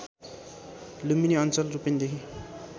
लुम्बिनी अञ्चल रूपन्देही